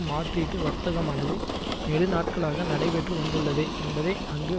மாற்றீட்டு வர்த்தகமானது நெடு நாட்களாக நடைபெற்று வந்துள்ளது என்பதை அங்கு